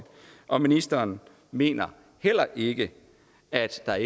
og ministeren mener heller ikke at der